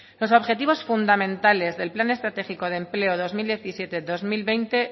los objetivos fundamentales del plan estratégico de empleo dos mil diecisiete dos mil veinte